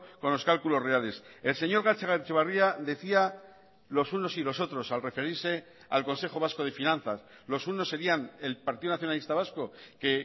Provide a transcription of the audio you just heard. con los cálculos reales el señor gatzagaetxebarria decía los unos y los otros al referirse al consejo vasco de finanzas los unos serían el partido nacionalista vasco que